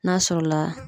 N'a sɔrɔ la